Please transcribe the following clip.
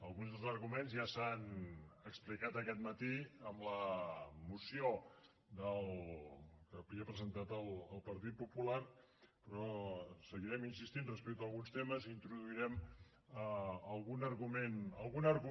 alguns dels arguments ja s’han expli cat aquest matí amb la moció que havia presentat el partit popular però seguirem insistint respecte a alguns temes i introduirem algun argument nou